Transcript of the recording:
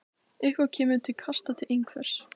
Eitthvað kemur til kasta einhvers